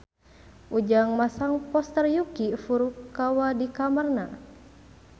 Ujang masang poster Yuki Furukawa di kamarna